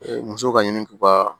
Musow ka ɲini k'u ka